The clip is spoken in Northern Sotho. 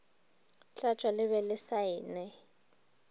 tlatšwa le be le saenwe